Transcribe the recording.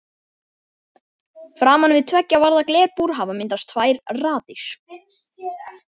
Framan við tveggja varða glerbúr hafa myndast tvær raðir.